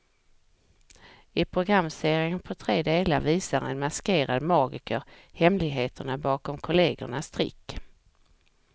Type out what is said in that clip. I programserien på tre delar visar en maskerad magiker hemligheterna bakom kollegornas trick.